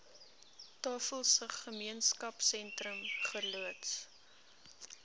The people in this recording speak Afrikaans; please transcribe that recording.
tafelsig gemeenskapsentrum geloods